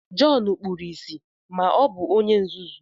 Jọn kpuru ìsì ma o bu onye nzuzu